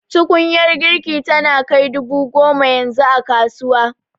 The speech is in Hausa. Tukunyar girki tana kai dubu goma yanzu a kasuwa